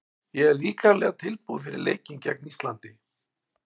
Ég er líkamlega tilbúinn fyrir leikinn gegn Íslandi.